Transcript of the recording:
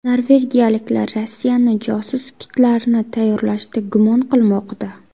Norvegiyaliklar Rossiyani josus kitlarni tayyorlashda gumon qilmoqda.